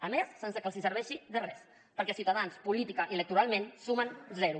a més sense que els serveixi de res perquè ciutadans políticament i electoralment sumen zero